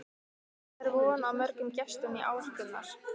Hvað er von á mörgum gestum í ár, Gunnar?